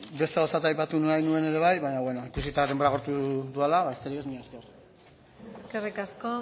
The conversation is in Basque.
beste gauza bat aipatu nahi nuen ere bai baina ikusita denbora agortu dudala besterik ez mila esker eskerrik asko